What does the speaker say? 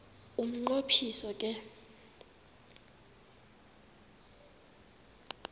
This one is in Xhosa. umnqo phiso ke